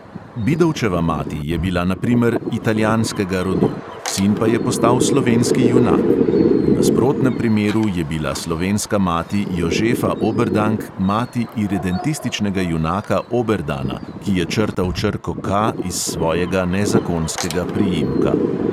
Bidovčeva mati je bila, na primer, italijanskega rodu, sin pa je postal slovenski junak; v nasprotnem primeru je bila slovenska mati jožefa oberdank mati iredentističnega junaka oberdana, ki je črtal črko K iz svojega nezakonskega priimka.